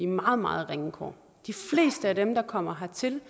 meget meget ringe kår de fleste af dem der kommer hertil